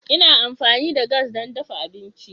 Ina amfani da gas don dafa abinci.